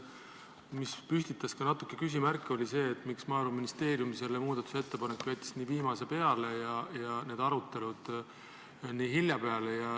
Mis püstitas ka natuke küsimärke, oli see, miks Maaeluministeerium jättis selle muudatusettepaneku nii viimase minuti peale ja arutelud nii hiljapeale.